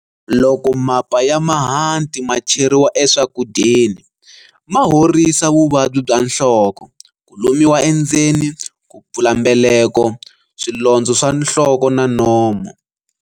Loko mapa ya mahanti ma cheriwa eswakudyeni ma horisa vuvabyi bya nhloko, ku lumiwa endzeni, ku pfula mbeleko, swilondzo swa nhloko na nomo.